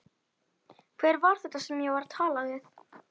Hver var þetta sem ég var að tala við?